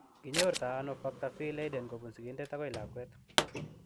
Kinyorto ano Factor V Leiden kobun sigindet akoi lakwet?